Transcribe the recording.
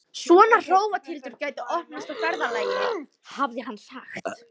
Svona hrófatildur gæti opnast á ferðalagi, hafði hann sagt.